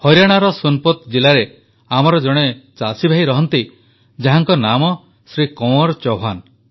ହରିୟାଣାର ସୋନିପତ ଜିଲ୍ଲାରେ ଆମର ଜଣେ ଚାଷୀଭାଇ ରହନ୍ତି ଯାହାଙ୍କ ନାମ ଶ୍ରୀ କଁୱର୍ ଚୌହାନ